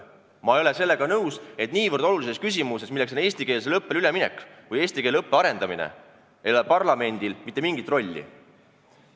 Ma ei ole sellega nõus, et niivõrd olulises küsimuses nagu eestikeelsele õppele üleminek või eesti keele õppe arendamine ei ole parlamendil mitte mingit rolli.